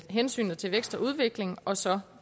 hensynet til vækst og udvikling og så